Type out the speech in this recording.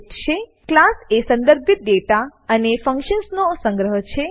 class class એ સંદર્ભિત દાતા ડેટા અને ફંકશન્સ ફંક્શનો નો સંગ્રહ છે